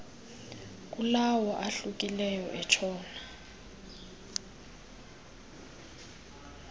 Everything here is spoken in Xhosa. kulawo ahlukileyo entshona